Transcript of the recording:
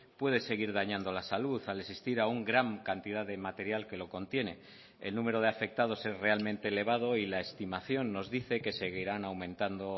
puede seguir dañando la salud al existir aún gran cantidad de material que lo contiene el número de afectados es realmente elevado y la estimación nos dice que seguirán aumentando